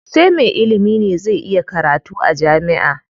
Sai me ilimi ne zai iya karatu jami'a.